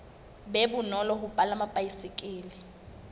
be bonolo ho palama baesekele